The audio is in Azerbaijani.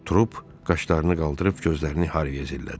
Trup qaşlarını qaldırıb gözlərini Harviyə zillədi.